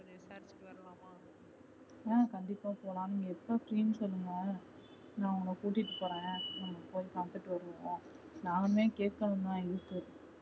அஹ் கண்டிப்பா போலாம் நீங்க எப்போ free சொல்லுங்க நா உங்கள கூப்பிட்டு போறன். நம்ப போய் பாத்துட்டு வருவோம் நானுமே கேக்கணும் தா இருக்கு